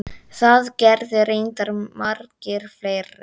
Það gerðu reyndar margir fleiri.